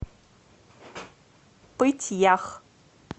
пыть ях